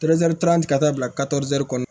ka taa bila kɔnɔ